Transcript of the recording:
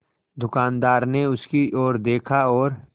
दुकानदार ने उसकी ओर देखा और